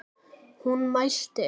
Hún mælti